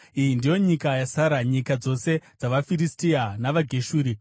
“Iyi ndiyo nyika yasara: nyika dzose dzavaFiristia, navaGeshuri: